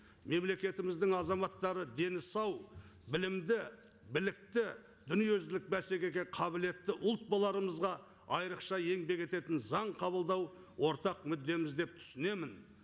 мемлекетіміздің азаматтары дені сау білімді білікті дүниежүзілік бәсекеге қабілетті ұлт боларымызға айрықша еңбек ететін заң қабылдау ортақ мүддеміз деп түсінемін